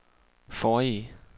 forrige